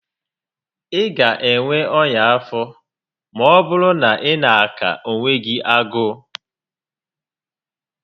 Ị ga enwe ọnya afọ maọbụrụ na ị na aka onwe gị agụụ